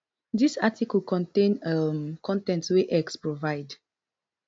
dis article contain um con ten t wey x provide